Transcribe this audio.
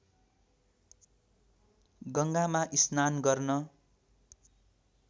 गङ्गामा स्नान गर्न